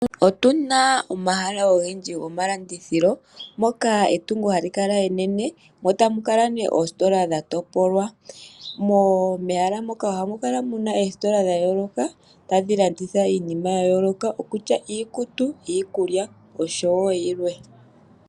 Otu na omahala ogendji gomalandithilo. Moka etungo hali kala enene, mo tamu kala ne oositola dha topolwa. Mo mehala moka oha mu kala omeesitola dha yooloka, tadhi landitha iinima ya yooloka, okutya iikutu, iikulya, osho wo yilwe.